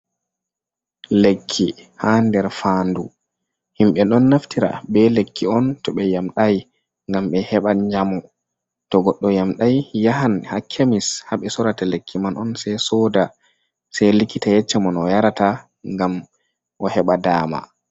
Lekki ha nder faandu. Himɓe ɗon naftira be lekki on to ɓe yamɗai, ngam ɓe heɓa njamu. To goɗɗo yamɗai, yahan ha kemis ha ɓe sorata lekki man on, sei soda. Sei likita yecca mo no o yarata ngam o heɓa dama.